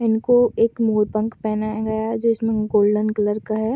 इनको एक मोरपंख पहनाया गया है जो इसमें गोल्डन कलर का है।